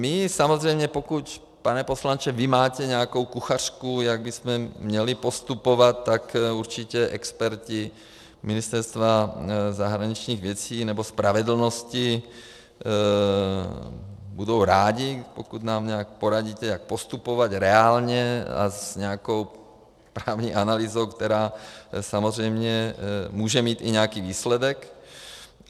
My samozřejmě, pokud, pane poslanče, vy mátě nějakou kuchařku, jak bychom měli postupovat, tak určitě experti Ministerstva zahraničních věcí nebo spravedlnosti budou rádi, pokud nám nějak poradíte, jak postupovat reálně a s nějakou právní analýzou, která samozřejmě může mít i nějaký výsledek.